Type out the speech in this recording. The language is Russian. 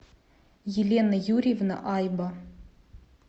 елена юрьевна айба